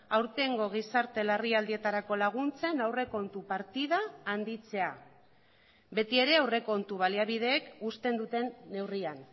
aurtengo gizarte larrialdietarako laguntzen aurrekontu partida handitzea betiere aurrekontu baliabideek uzten duten neurrian